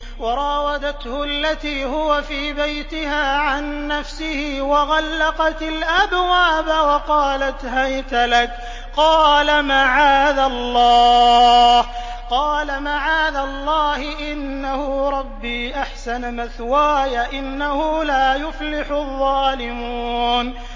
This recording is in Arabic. وَرَاوَدَتْهُ الَّتِي هُوَ فِي بَيْتِهَا عَن نَّفْسِهِ وَغَلَّقَتِ الْأَبْوَابَ وَقَالَتْ هَيْتَ لَكَ ۚ قَالَ مَعَاذَ اللَّهِ ۖ إِنَّهُ رَبِّي أَحْسَنَ مَثْوَايَ ۖ إِنَّهُ لَا يُفْلِحُ الظَّالِمُونَ